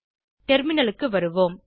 டெர்மினலுக்கு வருவோம்